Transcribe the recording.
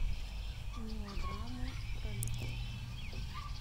мелодрамы про любовь